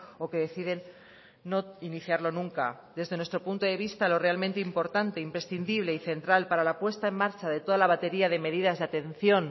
o que deciden no iniciarlo nunca desde nuestro punto de vista lo realmente importante imprescindible y central para la puesta en marcha de toda la batería de medidas de atención